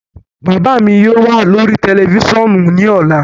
Baba mi yóò wa lori tẹlifisiọnu ni ọla